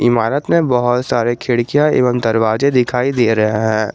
इमारत में बहुत सारे खिड़कियां एवं दरवाजे दिखाई दे रहे हैं।